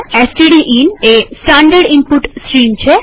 stdin એ standard input stream છે